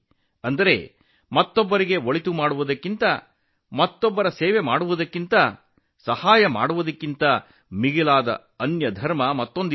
ಅಂದರೆ ಇತರರಿಗೆ ಉಪಕಾರ ಮಾಡುವುದು ಪರರ ಸೇವೆ ಮಾಡುವುದು ದಾನ ಮಾಡುವುದಕ್ಕಿಂತ ಬೇರೆ ಧರ್ಮ ಇನ್ನೊಂದಿಲ್ಲ